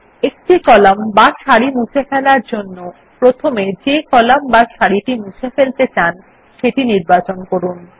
একটি একক কলাম বা সারি মুছে ফেলার জন্য প্রথমে যে কলাম বা সারিটি আপনি মুছে ফেলতে চান সেটি নির্বাচন করুন